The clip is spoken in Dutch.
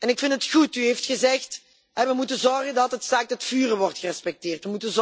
Ik vind het goed dat u heeft gezegd dat we moeten zorgen dat het staakt het vuren wordt gerespecteerd.